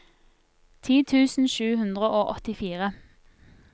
ti tusen sju hundre og åttifire